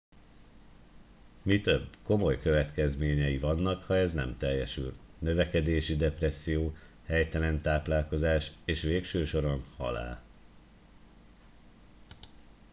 mi több komoly következményei vannak ha ez nem teljesül növekedési depresszió helytelen táplálkozás és végső soron halál